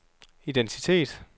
identitet